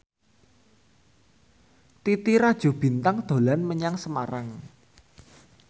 Titi Rajo Bintang dolan menyang Semarang